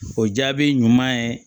O jaabi ɲuman ye